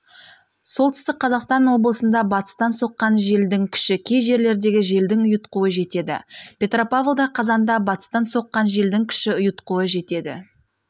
солтүстік қазақстан облысында батыстан соққан желдің күші кей жерлердегі желдің ұйытқуы жетеді петропавлда қазанда батыстан соққан желдің күші ұйытқуы жетеді